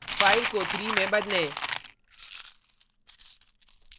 5 को 3 में बदलें